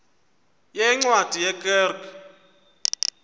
yeencwadi ye kerk